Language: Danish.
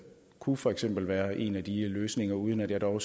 kunne for eksempel være en løsning uden at jeg dog